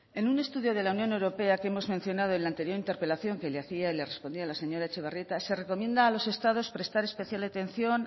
en un estudio de la unión europea que hemos mencionado en la anterior interpelación que le hacía y le respondía a la señora etxebarrieta se recomienda a los estados prestar especial atención